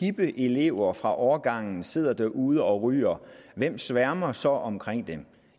hippe elever fra årgangen sidder derude og ryger hvem sværmer så ikke omkring dem